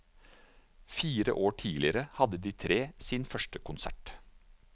Fire år tidligere hadde de tre sin første konsert.